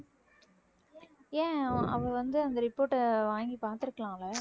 ஏன் அ~ அவ வந்து அந்த report அ வாங்கி பாத்திருக்கலாம் அவ